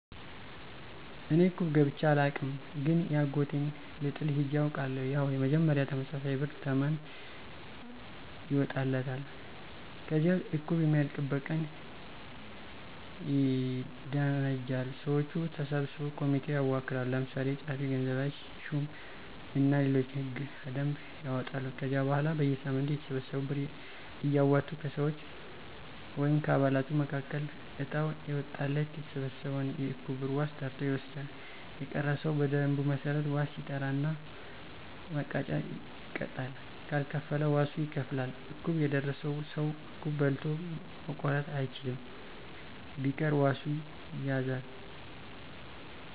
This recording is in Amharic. እኔ እቁብ ገብቸ አላውቅም ግን የአጎቴን ልጥል ሄጀ አውቃለሁ። ያው መጀመሪያ ተመሳሳይ ብር ተመን ይወጣለታል። ከዚያ እቁቡ የሚያልቅበት ቀን ይደነጃል። ሰወቹ ተሰብስበው ኮሚቴ ያዋቅራሉ። ለምሳሌ ጸሀፊ፣ ገንዘብ ሹም እና ሌሎችም እና ሕገ - ደንብ ያወጣሉ። ከዚያ በኋላ በየሳምንቱ እያተሰበሰቡ ብር እያወጡ ከሰወች(ከአባላቱ)መካከል እጣው የወጣለት የተሰበሰበውን የእቁብ ብር ዋስ ጠርቶ ይወስዳል። የቀረ ሰው በደንቡ መሠረት ዋስ ይጠራና መቀጫ ይቀጣል ካልከፈለ ዋሱ ይከፍላል። እቁብ የደረሰው ሰው እቁብ በልቶ ማቋረጥ አይችልም። ቢቀር ዋሱ ይያዛል።